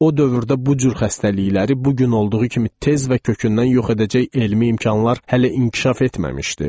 O dövrdə bu cür xəstəlikləri bu gün olduğu kimi tez və kökündən yox edəcək elmi imkanlar hələ inkişaf etməmişdi.